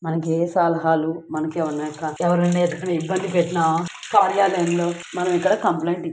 మహిళలకు చాలా ఉపయోగపడుతుంది. మనకి ఏ సలహాలు మనకమైన ఎవరైనా ఏదైనా ఇబ్బంది పెట్టినాకార్యాలయం లో మనంఫిర్యాదు ఐవో--